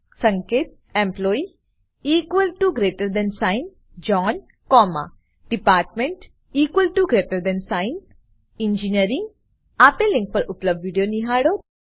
સંકેત employee zone comma department engineering આપેલ link પર ઉપલબ્ધ વિડીયો નિહાળો